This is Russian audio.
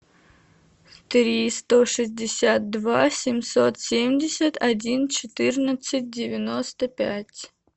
три сто шестьдесят два семьсот семьдесят один четырнадцать девяносто пять